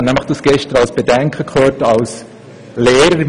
Das habe ich gestern nämlich als Bedenken gehört.